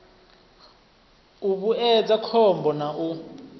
u vhuedza khombo na u